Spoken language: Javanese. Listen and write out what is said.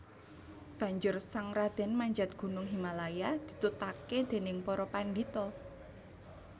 Banjur sang radèn manjat gunung Himalaya ditutaké dèning para pandhita